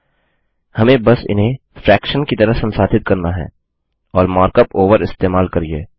हमें बस इन्हें फ्रैक्शन फ्रैक्शन की तरह संसाधित करना है और मार्क अप ओवर इस्तेमाल करिये